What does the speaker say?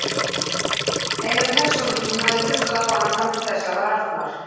Eina persónan sem hafði hlustað á hana fram til þessa var Arnar.